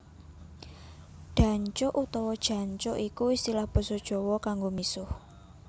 Dancuk utawa Jancuk iku istilah basa Jawa kanggo misuh